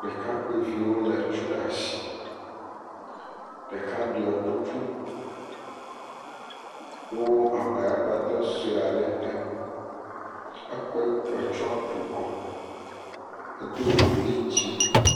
Ɖekakpuiviwo lé tu ɖe asi ɖeka ɖɔ kuku kɔ abegbaqdɔ aɖe te, ekɔ tua kukɔ, edo godi dzɛ̃.